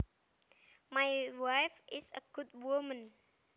My wife is a good woman